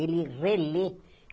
Ele relê.